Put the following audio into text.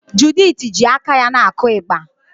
Judith ji aka ya na-akụ ịgbà.